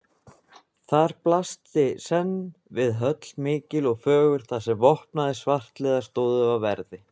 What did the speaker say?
Þar blasti senn við höll mikil og fögur, þar sem vopnaðir svartliðar stóðu á verði.